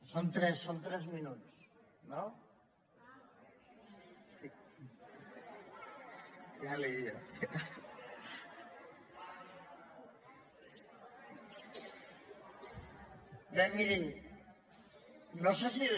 són tres són tres minuts no bé mirin no sé si